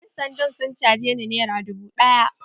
Yansandan sun caje ni nera dubu ɗaya.